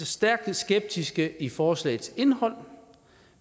stærkt skeptiske i forslagets indhold